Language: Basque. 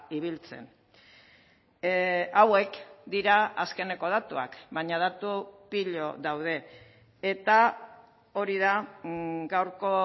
ibiltzen hauek dira azkeneko datuak baina datu pilo daude eta hori da gaurko